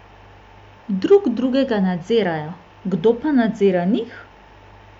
Drug drugega nadzirajo, pa kdo nadzira njih?